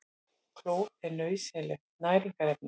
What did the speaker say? Klór er nauðsynlegt næringarefni.